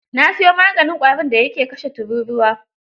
Na siyo maganin ƙwarin da ya ke kashe tururuwa.